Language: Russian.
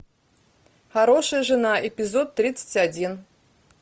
хорошая жена эпизод тридцать один